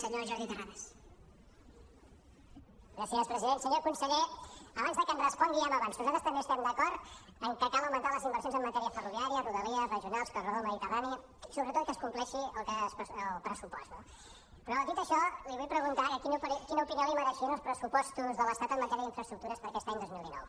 senyor conseller abans de que em respongui ja m’avanço nosaltres també estem d’acord en que cal augmentar les inversions en matèria ferroviària rodalies regionals corredor mediterrani i sobretot que es compleixi el pressupost no però dit això li vull preguntar quina opinió li mereixien els pressupostos de l’estat en matèria d’infraestructures per aquest any dos mil dinou